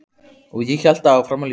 Og ég hélt áfram að ljúga.